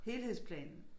Helhedsplanen